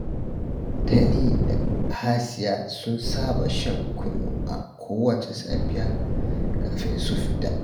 Tani da Hasiya sun saba shan kunu a kowacce safiya kafin su fita